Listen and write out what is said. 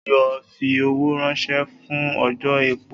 O yoo fi owo ranṣẹ fun ojò epo